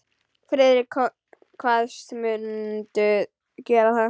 Friðrik kvaðst mundu gera það.